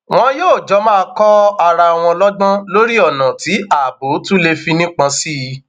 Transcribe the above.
wọn yóò jọ máa kọ ara wọn lọgbọn lórí ọnà tí ààbò tún léfì nípọn sí i